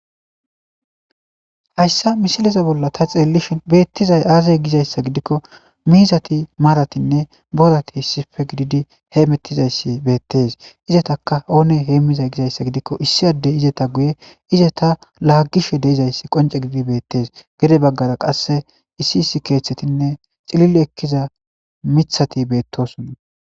Hayssa mishileza bolla ta xeellishin beettizay aazay gizayssa gidikko miizati maaratinne borati hissippe gididi heemettizayssi beettes izetaka oone heemmiza gizayssa gidikko issi addey izeta guye izeta laagishe de'izayssi qonce giidi beettees gede baggara qasse issi issi keeththetinne xilile ekkiza mithati beettoson.